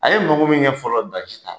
A ye mago min ɲɛn